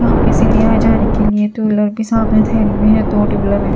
यहां पे सीढ़ियां जाने के लिए दो लड़के भी धरे हुए हैं दो हैं।